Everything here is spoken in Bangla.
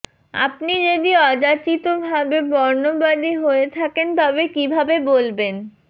আপনি যদি অযাচিতভাবে বর্ণবাদী হয়ে থাকেন তবে কিভাবে বলবেন